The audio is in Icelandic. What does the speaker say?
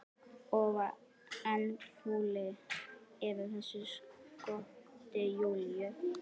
Og enn fúlli yfir þessu skoti Júlíu.